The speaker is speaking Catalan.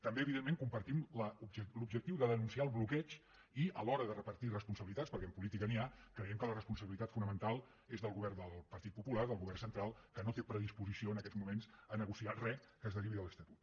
també evidentment compartim l’objectiu de denunciar el bloqueig i a l’hora de repartir responsabilitats perquè en política n’hi ha creiem que la responsabilitat fonamental és del govern del partit popular del govern central que no té predisposició en aquests moments a negociar re que es derivi de l’estatut